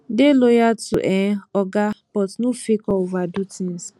dey loyal to um oga but no fake or overdo things